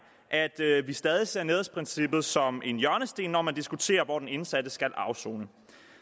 at vi stadig ser nærhedsprincippet som en hjørnesten når man diskuterer hvor den indsatte skal afsone